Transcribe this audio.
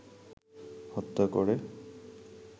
হত্যা করে